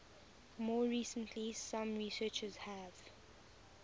more recently some researchers have